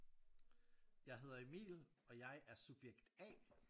Jeg hedder Emil og jeg er subjekt A